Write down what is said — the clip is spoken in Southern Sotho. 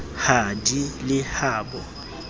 ha di le ha bo